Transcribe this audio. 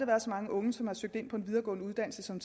været så mange unge som har søgt ind på en videregående uddannelse som